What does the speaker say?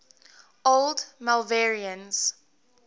old malvernians